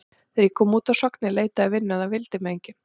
Þegar ég kom út af Sogni leitaði ég að vinnu en það vildi mig enginn.